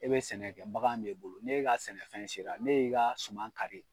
E bɛ sɛnɛkɛ bagan m'e bolo, ne ka sɛnɛfɛn sera ne y'i ka suman kari